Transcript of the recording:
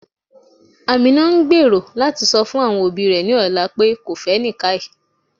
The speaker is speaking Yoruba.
Amina n gbèró lati sọ fun awọn obì rẹ ní ọlà pe kò fẹ́ Nikkai.